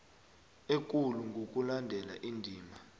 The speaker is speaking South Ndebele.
ekulu ngokulandela indima